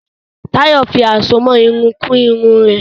Tayo fí Àsomọ́ Irun kun Irun rẹ.